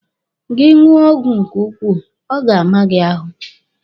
Gị ṅụọ ọgwụ nke ukwuu, ọ ga-ama gị ahụ.